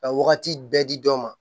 Ka wagati bɛɛ di dɔ ma